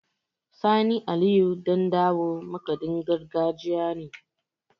Sani Aliyu Ɗandawo makaɗin gargajiya ne.